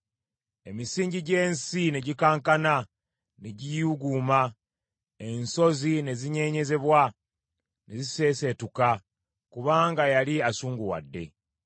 Emisingi gy’ensi ne gikankana ne giyuuguuma; ensozi ne zinyeenyezebwa ne ziseeseetuka, kubanga yali asunguwadde.